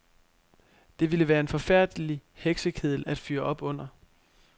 Det ville være en forfærdelig heksekedel at fyre op under.